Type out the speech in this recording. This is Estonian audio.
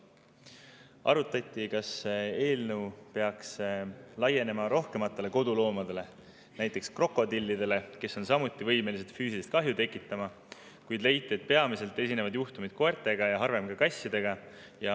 Arutati, kas eelnõu peaks laienema rohkematele koduloomadele, näiteks ka krokodillidele, kes on samuti võimelised füüsilist kahju tekitama, kuid leiti, et peamised juhtumid on koertega ja harvem ka kassidega.